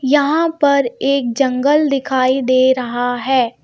यहाँ पर एक जंगल दिखाई दे रहा है.